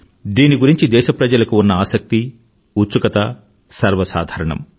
దీని గురించి దేశప్రజలకు ఉన్న ఆసక్తి ఉత్సుకత సర్వసాధారణం